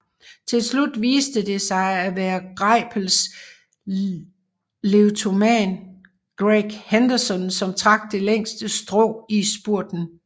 Tilslut viste det sig at være Greipels leadoutman Greg Henderson som trak det længste strå i spurten